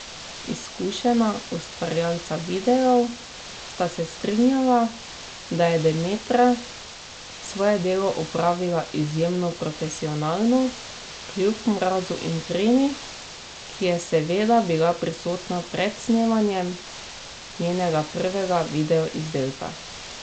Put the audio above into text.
Izkušena ustvarjalca videov sta se strinjala, da je Demetra svoje delo opravila izjemno profesionalno kljub mrazu in tremi, ki je seveda bila prisotna pred snemanjem njenega prvega videoizdelka.